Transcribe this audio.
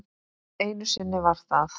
Einu sinni var það